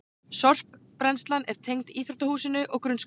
Sorpbrennslan er tengd íþróttahúsinu og grunnskólanum